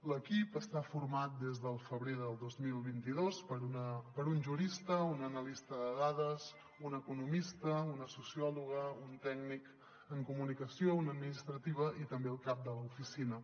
l’equip està format des del febrer del dos mil vint dos per un jurista un analista de dades un economista una sociòloga un tècnic en comunicació una administrativa i també el cap de l’oficina